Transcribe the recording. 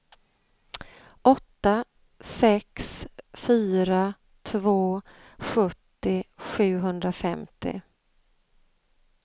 åtta sex fyra två sjuttio sjuhundrafemtio